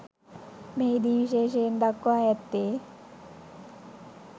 මෙහි දී විශේෂයෙන් දක්වා ඇත්තේ